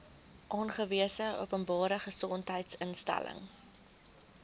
aangewese openbare gesondheidsinstelling